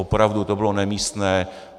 Opravdu, to bylo nemístné.